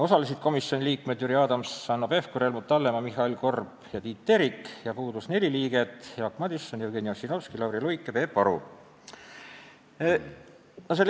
Osalesid komisjoni liikmed Jüri Adams, Hanno Pevkur, Helmut Hallemaa, Mihhail Korb ja Tiit Terik ja puudus neli liiget: Jaak Madison, Jevgeni Ossinovski, Lauri Luik ja Peep Aru.